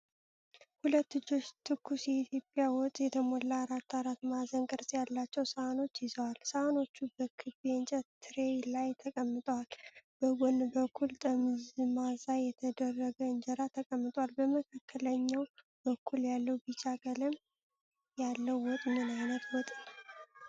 ሁለት እጆች ትኩስ የኢትዮጵያ ወጥ የተሞሉ አራት አራት ማዕዘን ቅርጽ ያላቸውን ሳህኖች ይዘዋል። ሳህኖቹ በክብ የእንጨት ትሬይ ላይ ተቀምጠዋል። በጎን በኩል ጠመዝማዛ የተደረገ እንጀራ ተቀምጧል። በመካከለኛው በኩል ያለው ቢጫ ቀለም ያለው ወጥ ምን ዓይነት ወጥ ነው?